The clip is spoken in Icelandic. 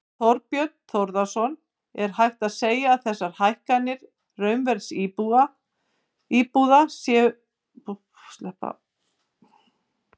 Þorbjörn Þórðarson: Er hægt að segja að þessar hækkanir raunverðs íbúða séu óeðlilega miklar?